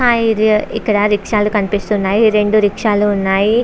Hi ఇక్కడ rickshaw కనిపిస్తుంది. రెండు రిక్షా లు కనిపిస్తున్నాయి.